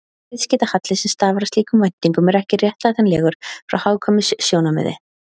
Viðskiptahalli sem stafar af slíkum væntingum er ekki réttlætanlegur frá hagkvæmnissjónarmiði.